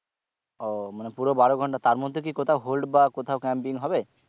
ও মানে পুরো বারো ঘন্টা তার মধ্যে কি কোথাও hold বা কোথাও camping হবে?